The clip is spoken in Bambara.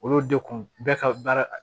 Olu de kun bɛɛ ka baara